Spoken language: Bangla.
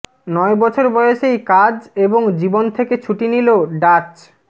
নয় বছর বয়সেই কাজ এবং জীবন থেকে ছুটি নিল ডাচ